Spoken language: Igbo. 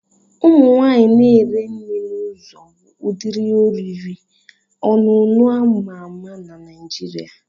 Ụmụ nwaanyị na ere nri n'uzo bu ụdịrị oriri and ọṅụṅụ ama-ma na Naijiria.